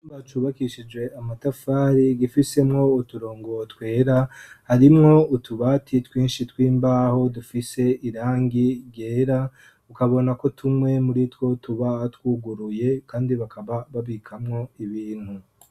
Icumba cubakishije amatafari gifisemwo uturongo twera. Harimwo utubati twinshi tw'imbaho dufise irangi ryera ukabona ko tumwe muri two tuba twuguruye kandi bakaba babikamwo ibintu.